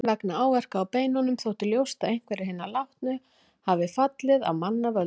Vegna áverka á beinunum þótti ljóst að einhverjir hinna látnu hafi fallið af manna völdum.